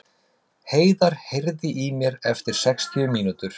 Heiðar, heyrðu í mér eftir sextíu mínútur.